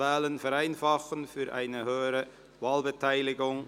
«Wählen vereinfachen – für eine höhere Wahlbeteiligung».